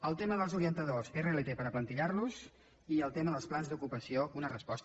al tema dels orientadors rlt per aplantillar los i al tema dels plans d’ocupació una resposta